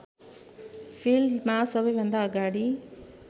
फिल्डमा सबैभन्दा अगाडि